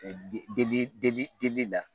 Delili delili la